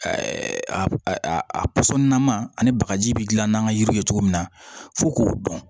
pɔsɔninna ma ani bagaji bɛ dilan n'an ka yiri ye cogo min na fo k'o dɔn